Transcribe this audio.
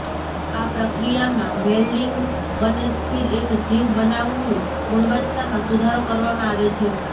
આ પ્રક્રિયામાં વેલ્ડિંગ બને સ્થિર એક જીવ બનાવવું ગુણવત્તામાં સુધારો કરવામાં આવે છે